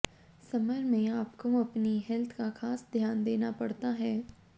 summer में आपको अपनी हेल्थ का खास ध्यान देना पड़ता है